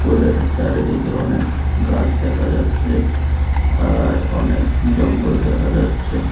পুকুরের চারিদিকে অনেক গাছ দেখা যাচ্ছে আর অনেক জঙ্গল দেখা যাচ্ছে।